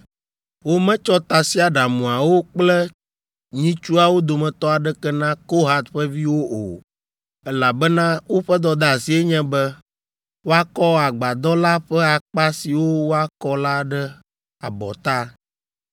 Wometsɔ tasiaɖamuawo kple nyitsuawo dometɔ aɖeke na Kohat ƒe viwo o, elabena woƒe dɔdeasie nye be woakɔ agbadɔ la ƒe akpa siwo woakɔ la ɖe abɔta.